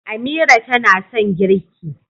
Amira tana son girƙi